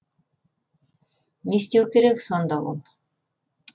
не істеуі керек сонда ол